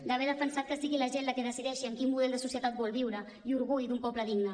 d’haver defensat que sigui la gent la qui decideixi en quin model de societat vol viure i orgull d’un poble digne